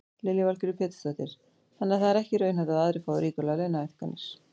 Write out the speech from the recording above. Lillý Valgerður Pétursdóttir: Þannig að það er ekki raunhæft að aðrir fái ríkulegar launahækkanir?